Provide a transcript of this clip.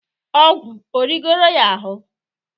ọgwu erigoro ya ahụ?